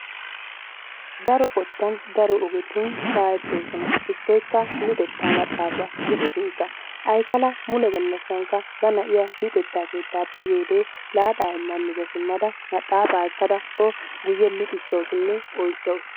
Daro qottaan daro ogetun shaahettoosona. Hegeetika luuxxettaa maxafaa gidishin aykala muletookka ba na'iyaa luxxetta keettappe yiyoode laaxaa miza siimmada maxapaa ekkada o guyye luuxxisawusunne oychchawus.